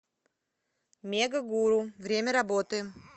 мегагуру время работы